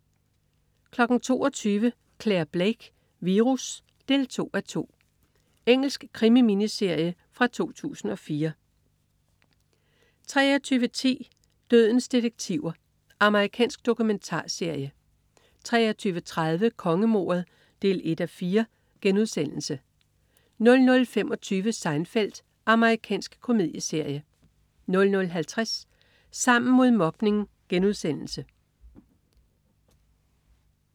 22.00 Clare Blake: Virus 2:2. Engelsk krimi-miniserie fra 2004 23.10 Dødens detektiver. Amerikansk dokumentarserie 23.30 Kongemordet 1:4* 00.25 Seinfeld. Amerikansk komedieserie 00.50 Sammen mod mobning*